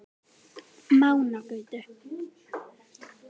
Mánagötu